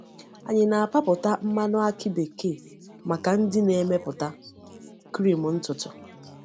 Anyị na-apapụta mmanụ akị bekee maka ndị na-emepụta krim ntutu.